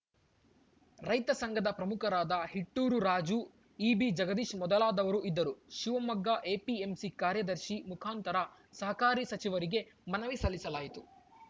ರೈತ ಸಂಘದ ಪ್ರಮುಖರಾದ ಹಿಟ್ಟೂರು ರಾಜು ಇಬಿ ಜಗದೀಶ್‌ ಮೊದಲಾದವರು ಇದ್ದರು ಶಿವಮೊಗ್ಗ ಎಪಿಎಂಸಿ ಕಾರ್ಯದರ್ಶಿ ಮುಖಾಂತರ ಸಹಕಾರಿ ಸಚಿವರಿಗೆ ಮನವಿ ಸಲ್ಲಿಸಲಾಯಿತು